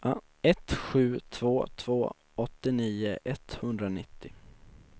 ett sju två två åttionio etthundranittio